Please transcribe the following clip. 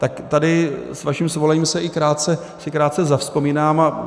Tak tady s vaším svolením si krátce i zavzpomínám.